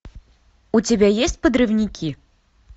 у тебя есть подрывники